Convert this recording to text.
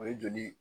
O ye joli